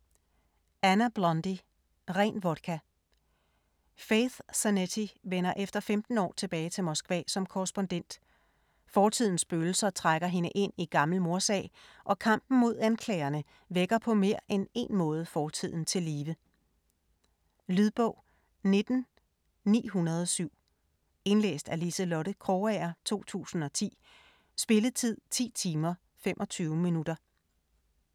Blundy, Anna: Ren vodka Faith Zanetti vender efter 15 år tilbage til Moskva som korrespondent. Fortidens spøgelser trækker hende ind i gammel mordsag, og kampen mod anklagerne vækker på mere end en måde fortiden til live. Lydbog 19907 Indlæst af Liselotte Krogager, 2010. Spilletid: 10 timer, 25 minutter.